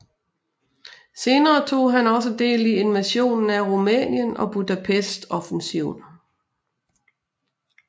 Senere tog han også del i invasionen af Rumænien og Budapest offensiven